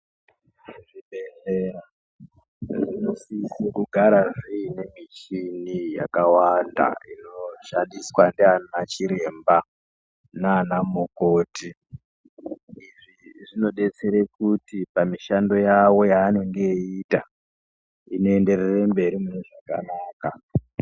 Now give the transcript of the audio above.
Zvibhedhlera zvinosise kugara zviine michini yakawanda inoshandiswa ndiana chiremba naana mukoti. Izvi zvinodetsere kuti pamishando yawo yaanenge eiita, inoenderere mberi mune zvakanaka.